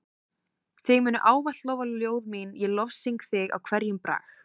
Þig munu ávallt lofa ljóð mín ég lofsyng þig í hverjum brag.